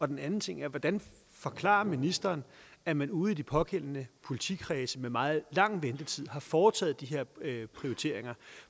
den anden ting er hvordan forklarer ministeren at man ude i de pågældende politikredse med meget lang ventetid har foretaget de her prioriteringer